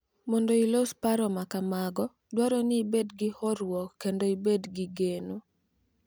Mondo ilos paro ma kamago, dwarore ni ibed gi horuok kendo ibed gi geno.